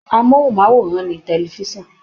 Amóhùnmáwòrán ni tefisan.